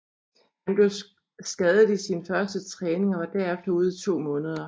Han blev skadet i sin første træning og var herefter ude i to måneder